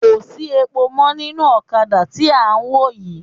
Kò sí epo mọ́ nínú ọ̀kadà tí à ń wò yii